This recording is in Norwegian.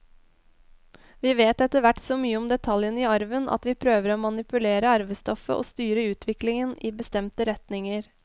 Vi vet etterhvert så mye om detaljene i arven at vi prøver å manipulere arvestoffet og styre utviklingen i bestemte retninger.